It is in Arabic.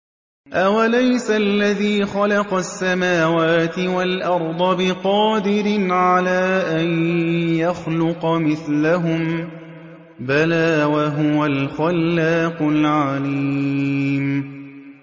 أَوَلَيْسَ الَّذِي خَلَقَ السَّمَاوَاتِ وَالْأَرْضَ بِقَادِرٍ عَلَىٰ أَن يَخْلُقَ مِثْلَهُم ۚ بَلَىٰ وَهُوَ الْخَلَّاقُ الْعَلِيمُ